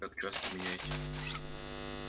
как часто меняете